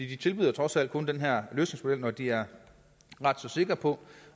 de tilbyder trods alt kun den her løsningsmodel når de er ret så sikre på